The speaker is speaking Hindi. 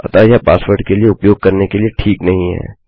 अतः यह पासवर्ड के लिए उपयोग करने के लिए ठीक नहीं है